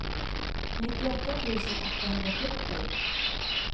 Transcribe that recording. nittioåtta tusen åttahundrasjuttio